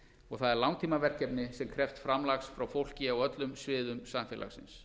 og það er langtímaverkefni sem krefst framlags frá fólki á öllum sviðum samfélagsins